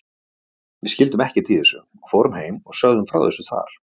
Við skildum ekkert í þessu og fórum heim og sögðum frá þessu þar.